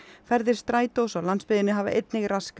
ferðir Strætós á landsbyggðinni hafa einnig raskast